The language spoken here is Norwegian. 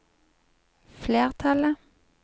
flertallet